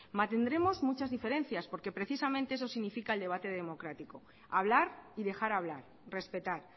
mantendremos muchas diferencias porque precisamente eso significa el debate democrático hablar y dejar hablar respetar